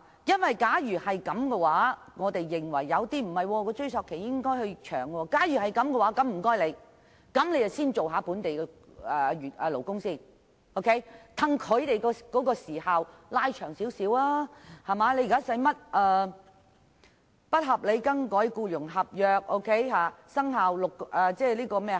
若有人認為應延長追溯期，那麼我們便應先保障本地勞工，延長有關時限，因為現時僱員被不合理更改僱傭合約，舉報時限只有6個月，